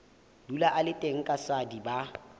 dula a le teng kaswadi ba